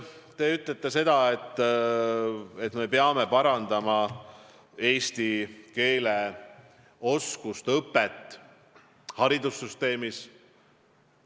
Te ütlete seda, et me peame parandama eesti keele oskust, selle õpet haridussüsteemis.